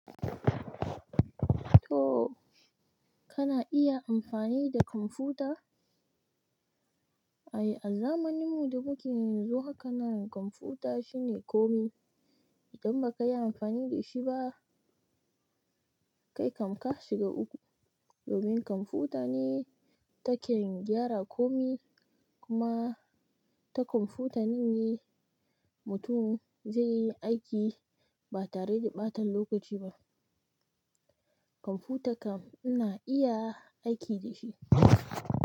To, kana iya amfani da kwamfuta? Ayi, a zamaninmu da mukeyi yanzu haka nan kwamfuta shine komi. Idan ba ka yi amfani da shi ba, kai ka ka shiga uku. Domin kwamfuta ne taken gyara komi kuma ta kwamfuta ne mutum zai yi aiki ba tare da ɓata lokaci ba. Kwamfuta kam ina iya aiki dashi.